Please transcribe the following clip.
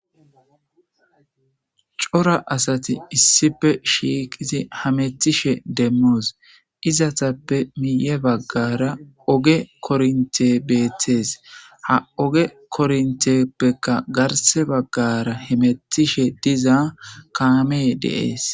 Coora asati issippe shiqidi hamutishe demos izetappe guye baggara oge korontey beettes ha oge koronttepekka garsa bagara hamutiza kammey des